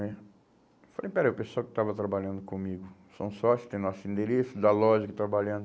né? Eu falei, espera, o pessoal que estava trabalhando comigo são sócios, tem nosso endereço, da loja que está trabalhando.